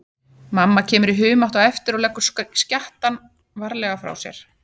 Mamma kemur í humátt á eftir og leggur skjattann varlega frá sér.